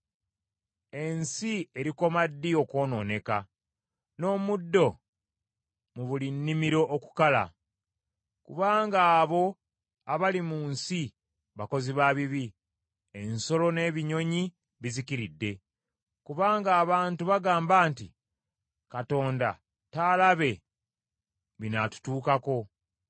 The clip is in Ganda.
Ensi erikoma ddi okwonooneka, n’omuddo mu buli nnimiro okukala? Kubanga abo abali mu nsi bakozi ba bibi, ensolo n’ebinyonyi bizikiridde, kubanga abantu bagamba nti, “Katonda taalabe binaatutuukako.”